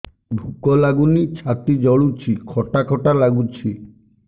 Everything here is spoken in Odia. ଭୁକ ଲାଗୁନି ଛାତି ଜଳୁଛି ଖଟା ଖଟା ଲାଗୁଛି